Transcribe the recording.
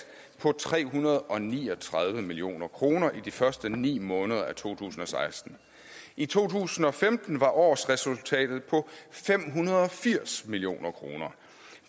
på tre hundrede og ni og tredive million kroner i de første ni måneder af to tusind og seksten i to tusind og femten var årsresultatet på fem hundrede og firs million kroner